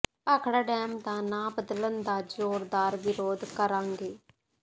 Bhakra dam ਦਾ ਨਾਂਅ ਬਦਲਣ ਦਾ ਜ਼ੋਰਦਾਰ ਵਿਰੋਧ ਕਰਾਂਗੇ